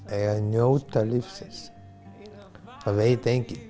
að njóta lífsins það veit enginn